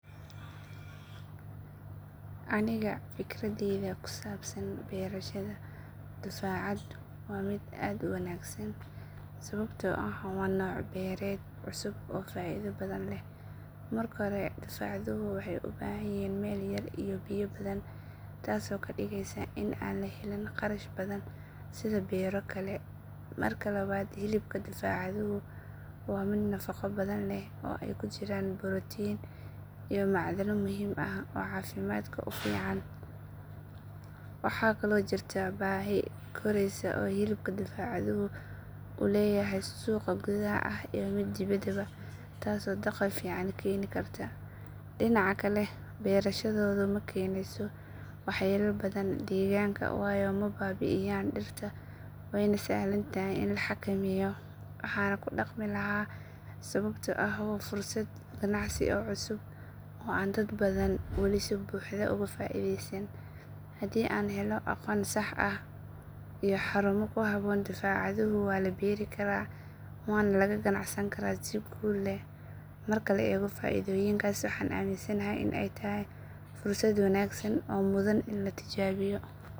Aniga fikradayda ku saabsan beerashada dufcadduhu waa mid aad u wanaagsan sababtoo ah waa nooc beereed cusub oo faa’iido badan leh. Marka hore dufcadduhu waxay u baahan yihiin meel yar iyo biyo badan taasoo ka dhigaysa in aan la helin kharash badan sida beero kale. Marka labaad hilibka dufcadduhu waa mid nafaqo badan leh oo ay ku jiraan borotiinno iyo macdano muhiim ah oo caafimaadka u fiican. Waxaa kaloo jirta baahi koraysa oo hilibka dufcadduhu uu leeyahay suuq gudaha ah iyo mid dibadeedba taasoo dakhli fiican keeni karta. Dhinaca kale beerashadoodu ma keenayso waxyeelo badan deegaanka waayo ma baabi’iyaan dhirta waana sahlan tahay in la xakameeyo. Waxaan ku dhaqmi lahaa sababtoo ah waa fursad ganacsi oo cusub oo aan dad badani wali si buuxda uga faa’iideysan. Haddii la helo aqoon sax ah iyo xarumo ku habboon dufcadduhu waa la beeri karaa waana laga ganacsan karaa si guul leh. Marka la eego faa’iidooyinkaas waxaan aaminsanahay in ay tahay fursad wanaagsan oo mudan in la tijaabiyo.